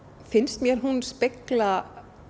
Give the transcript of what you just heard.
finnst mér hún spegla